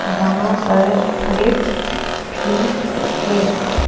वहां पर लिफ्ट भी है।